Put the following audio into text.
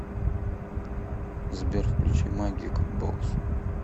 сбер включи магик бокс